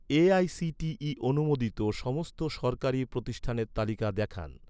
AICTE অনুমোদিত সমস্ত সরকারি প্রতিষ্ঠানের তালিকা দেখান